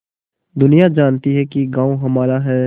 दुनिया जानती है कि गॉँव हमारा है